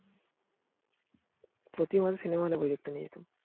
প্রতি মাসে সিনেমা দেখতে নিয়ে যেতাম